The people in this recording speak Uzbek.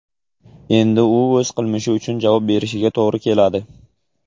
Endi u o‘z qilmishi uchun javob berishiga to‘g‘ri keladi.